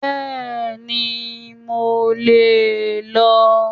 Bẹ́ẹ̀ni, mo lè lọ